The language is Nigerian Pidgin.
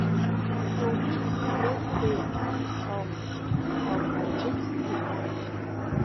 so who be di main players um um and wetin dey want?